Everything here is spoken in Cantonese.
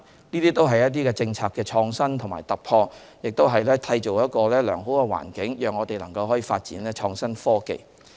這些都是政策創新和突破，也締造良好的環境，讓我們可以發展創新科技。